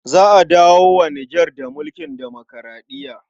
Za a dawo wa Nijar da mulkin demokuraɗiya.